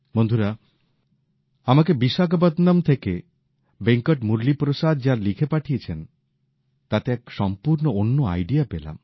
বন্ধুরা আমাকে বিশাখাপত্তনম থেকে ভেঙ্কট মুরলীপ্রসাদ যা লিখে পাঠিয়েছেন তাতে এক সম্পূর্ণ অন্য ধারণা পেলাম